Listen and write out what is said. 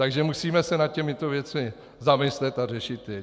Takže musíme se nad těmito věcmi zamyslet a řešit je.